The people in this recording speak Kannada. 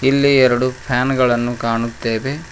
ಇಲ್ಲಿ ಎರಡು ಫ್ಯಾನ್ ಗಳನ್ನು ಕಾಣುತ್ತೇವೆ.